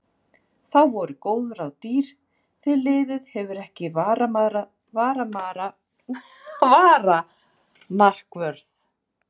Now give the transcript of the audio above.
Þá voru góð ráð dýr því liðið hefur ekki varamarkvörð.